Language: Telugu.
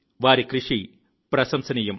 వారి కృషి ప్రశంసనీయం